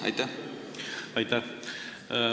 Aitäh!